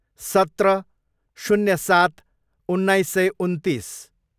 सत्र, शून्य सात, उन्नाइस सय उन्तिस